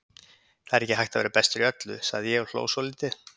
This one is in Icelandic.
Það er ekki hægt að vera bestur í öllu, sagði ég og hló svolítið.